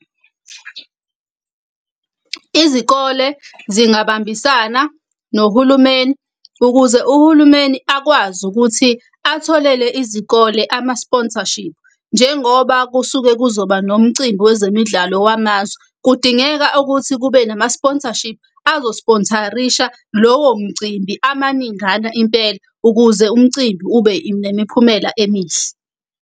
Izikole zingabambisana nohulumeni ukuze uhulumeni akwazi ukuthi atholele izikole ama-sponsorship. Njengoba kusuke kuzoba nomcimbi wezemidlalo wamazwe, kudingeka ukuthi kube nama-sponsorship azo-sponsor-risha lowo mcimbi amaningana impela, ukuze umcimbi ube nemiphumela emihle.